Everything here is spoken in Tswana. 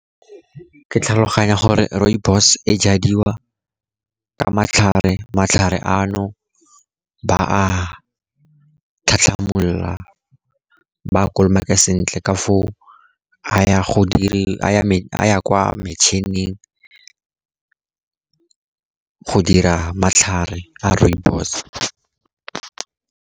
Ke tlhaloganya gore rooibos e jadiwa ka matlhare. Matlhare ano ba a a tlhatlhamolola, ba a kolomake sentle ka foo a ya kwa metšhining go dira matlhare a rooibos.